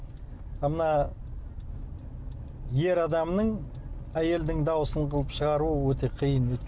а мына ер адамның әйелдің дауысы қылып шығару ол өте қиын